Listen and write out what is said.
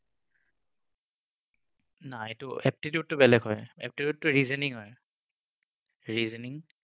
না এইটো aptitude তো বেলেগ হয়। Aptitude টো reasoning হয়। reasoning